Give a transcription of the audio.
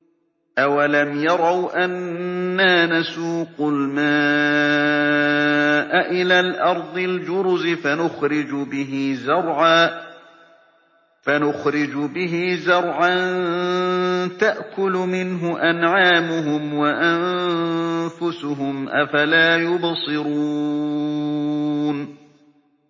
أَوَلَمْ يَرَوْا أَنَّا نَسُوقُ الْمَاءَ إِلَى الْأَرْضِ الْجُرُزِ فَنُخْرِجُ بِهِ زَرْعًا تَأْكُلُ مِنْهُ أَنْعَامُهُمْ وَأَنفُسُهُمْ ۖ أَفَلَا يُبْصِرُونَ